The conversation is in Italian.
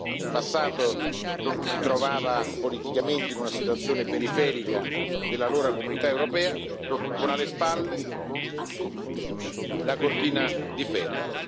Nel passato si trovava politicamente in una situazione periferica dell'allora Comunità europea, con alle spalle la cortina di ferro.